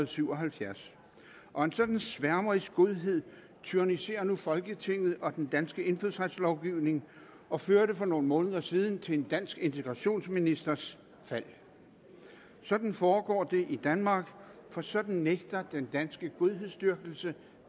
syv og halvfjerds og en sådan sværmerisk godhed tyranniserer nu folketinget og den danske indfødsretslovgivning og førte for nogle måneder siden til en dansk integrationsministers fald sådan foregår det i danmark for sådan nægter den danske godhedsdyrkelse